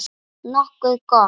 Nokkuð gott.